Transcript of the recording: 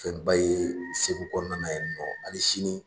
Fɛnba ye Segu kɔnɔna na yani nɔ ali sini.